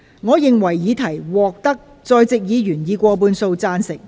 我認為議題獲得在席議員以過半數贊成。